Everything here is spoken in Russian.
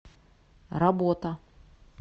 работа